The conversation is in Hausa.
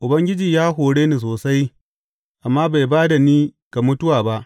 Ubangiji ya hore ni sosai, amma bai ba da ni ga mutuwa ba.